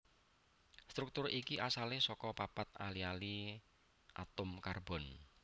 Struktur iki asalé saka papat ali ali atom karbon